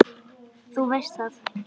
Þú veist það.